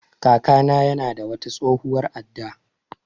Kaka na ya na da wata tsohuwar adda